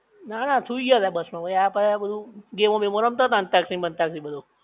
ના ના સુઈ ગયા તા બસ માં આ બધું ગેમો બેમો રમતા તા અંતાક્ષરી બન્તાક્ષરી ને બધું